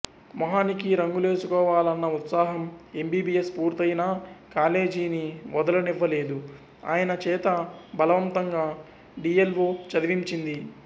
మొహానికి రంగులేసుకోవాలన్న ఉత్సాహం ఎంబిబియస్ పూర్తయినా కాలేజీని వదలనివ్వలేదు ఆయన చేత బలవంతంగా డిఎల్వో చదివించింది